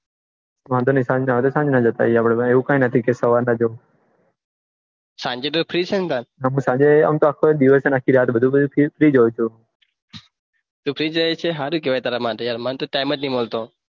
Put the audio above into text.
વાંઘો ની ખાઈ ને પછી આપડે ડીરેક સવારના જાસો સાંજે તો ફ્રી છે ને કાલ ના સાંજે આમ તો આખો દિવસ અને આખી રાત ફ્રી હોય છું તું ફ્રી હોય છે સારું કેવાય તારા માટે મને તો ટાઈમ જ ની મળતો